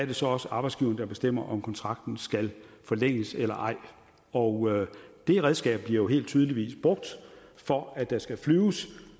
det så også arbejdsgiveren der bestemmer om kontrakten skal forlænges eller ej og det redskab bliver helt tydeligvis brugt for at der skal flyves